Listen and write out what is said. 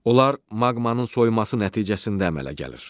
Onlar maqmanın soyuması nəticəsində əmələ gəlir.